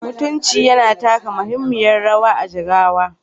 Mutunci yana taka muhimmiyar rawa a Jigawa